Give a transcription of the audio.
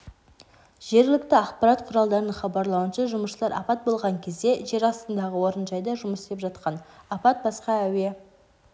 жергілікті ақпарат құралдарының хабарлауынша жұмысшылар апат болған кезде жер-астындағы орынжайда жұмыс істеп жатқан апат басқа әуе